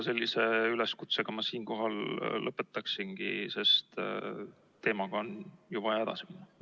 Sellise üleskutsega ma siinkohal lõpetangi, sest teemaga on ju vaja edasi minna.